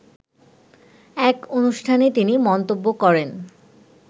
এক অনুষ্ঠানে তিনি মন্তব্য করেন